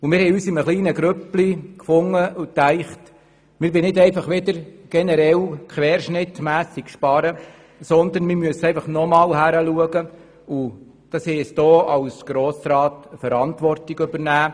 Wir haben uns in einer kleinen Gruppe zusammengefunden und haben gedacht, wir wollten nicht querschnittsartig sparen, sondern nochmals genau hinschauen und als Grossräte Verantwortung übernehmen.